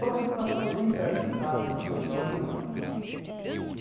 Só que o que passava bem perto da minha casa, ele passava de hora em hora.